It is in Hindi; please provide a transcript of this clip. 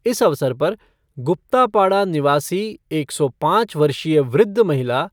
इस अवसर पर गुप्तापाड़ा निवासी एक सौ पाँच वर्षीय वृद्ध महिला